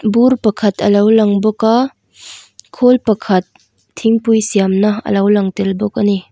bur pakhat alo lang bawk a khawl pakhat thingpui siam na alo lang tel bawk ani.